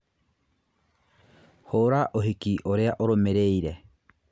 hũra ũhiki ũrĩa ũrũmĩrĩire